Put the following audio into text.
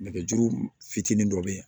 Nɛgɛjuru fitinin dɔ bɛ yen